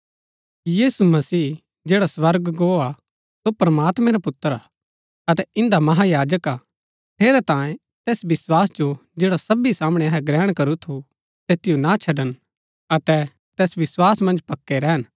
यीशु मसीह जैड़ा स्वर्ग गो हा सो प्रमात्मैं रा पुत्र हा अतै इन्दा महायाजक हा ठेरैतांये तैस विस्वास जो जैड़ा सबी सामणै अहै ग्रहण करू थू तैतिओ ना छड़न अतै तैस विस्वास मन्ज पक्कै रैहन